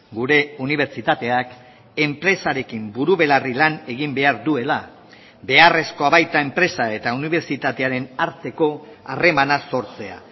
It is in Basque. gure unibertsitateak enpresarekin buru belarri lan egin behar duela beharrezkoa baita enpresa eta unibertsitatearen arteko harremana sortzea